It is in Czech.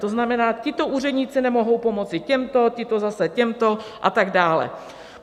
To znamená, tito úředníci nemohou pomoci těmto, tito zase těmto a tak dále.